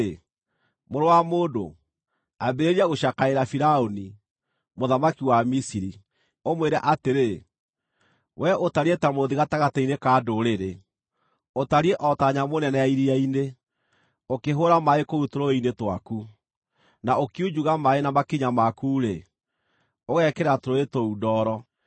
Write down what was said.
“Mũrũ wa mũndũ, ambĩrĩria gũcakaĩra Firaũni, mũthamaki wa Misiri, ũmwĩre atĩrĩ: “ ‘Wee ũtariĩ ta mũrũũthi gatagatĩ-inĩ ka ndũrĩrĩ; ũtariĩ o ta nyamũ nene ya iria-inĩ, ũkĩhũũra maaĩ kũu tũrũũĩ-inĩ twaku, na ũkiunjuga maaĩ na makinya maku-rĩ, ũgekĩra tũrũũĩ tũu ndooro.